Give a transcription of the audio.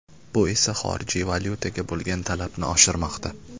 Bu esa xorijiy valyutaga bo‘lgan talabni oshirmoqda.